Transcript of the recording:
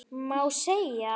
Má segja?